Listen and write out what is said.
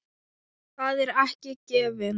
Það er ekki gefið.